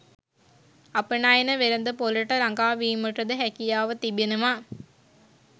අපනයන වෙළෙඳ‍පොළට ළඟා වීමටද හැකියාව තිබෙනවා.